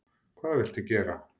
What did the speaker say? Hvað viltu gera?